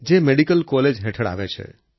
જે medical college હેઠળ આવે છે